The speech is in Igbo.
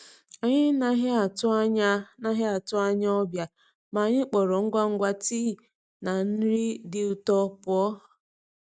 Anyị naghị atụ Anyị naghị atụ anya ọbịa, ma anyị kpọrọ ngwa ngwa tii na nri dị ụtọ pụọ.